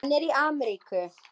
Hann er í Ameríku.